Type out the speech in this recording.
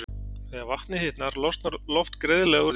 Þegar vatnið hitnar losnar loft greiðlega úr því.